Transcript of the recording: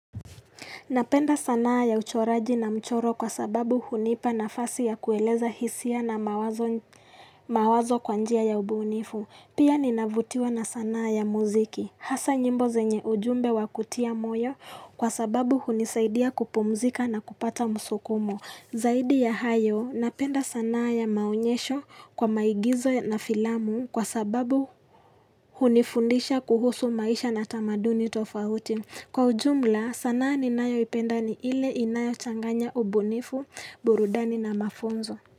Napenda sanaa ya uchoraji na mchoro kwa sababu hunipa nafasi ya kueleza hisia na mawazo kwa njia ya ubunifu. Pia ninavutiwa na sanaa ya muziki. Hasa nyimbo zenye ujumbe wa kutia moyo kwa sababu hunisaidia kupumzika na kupata msukumo. Zaidi ya hayo, napenda sanaa ya maonyesho kwa maigizo na filamu kwa sababu hunifundisha kuhusu maisha na tamaduni tofauti. Kwa ujumla sanaa ninayoipenda ni ile inayochanganya ubunifu, burudani na mafunzo.